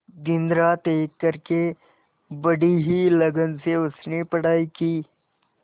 दिनरात एक करके बड़ी ही लगन से उसने पढ़ाई की